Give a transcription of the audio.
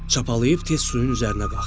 Çapalayıb tez suyun üzərinə qalxdı.